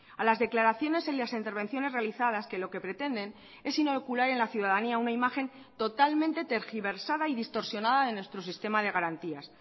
a las declaraciones en las intervenciones realizadas que lo que pretenden es inocular en la ciudadanía una imagen totalmente tergiversada y distorsionada en nuestro sistema de garantías